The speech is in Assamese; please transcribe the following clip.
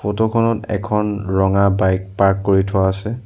ফটো খনত এখন ৰঙা বাইক পাৰ্ক কৰি থোৱা আছে।